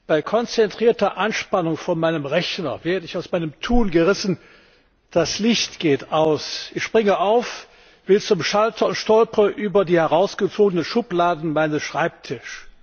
Bei konzentrierter Anspannung vor meinem Rechner werde ich aus meinem Tun gerissen Das Licht geht aus, ich springe auf, will zum Schalter und stolpere über die herausgezogene Schublade meines Schreibtischs.